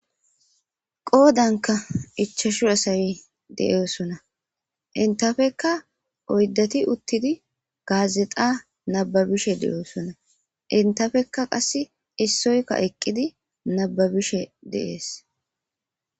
Qodanka ichashu asayi de'osona intafekka oyddati uttidi gaazexa nababishe de'osona intafekka qass issoyka eqqidi nababishe dees.